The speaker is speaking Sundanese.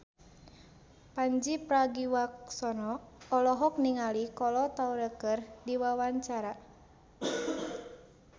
Pandji Pragiwaksono olohok ningali Kolo Taure keur diwawancara